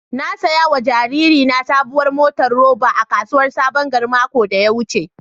Na saya wa jaririna saɓuwar motar roba a kasuwar saɓon gari maƙon da ya wuce.